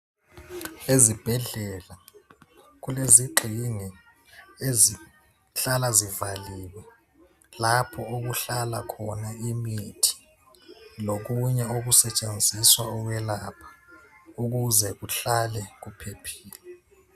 Ezibhedlela kulezigxingi ezihlala zivaliwe lapho okuhlala khona imithi lokunye okusetshenziswa ukwelapha ukuze kuhlale kuphephile.